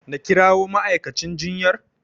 Na kirawo ma'aikacin jinyar?